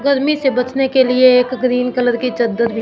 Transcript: गर्मी से बचने के लिए एक ग्रीन कलर की चद्दर भी--